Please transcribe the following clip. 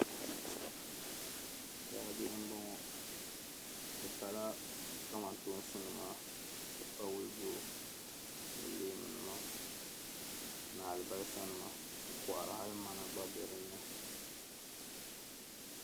Daabihi m-bɔŋɔ bɛ pala kamantoosi ka pa wulijo ni leemunima ni alibalisanima m-kɔhira hali mana gba be dinni.